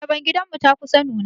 Ayaban gidan mu ta kusa nuna.